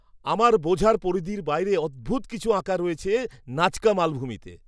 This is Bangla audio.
আমার বোঝার পরিধির বাইরে অদ্ভূত কিছু আঁকা রয়েছে নাজকা মালভূমিতে!